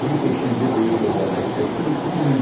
Bu beşinci ölüdür onlardan çıxıb.